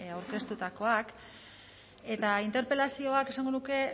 aurkeztutakoak eta interpelazioak esango nuke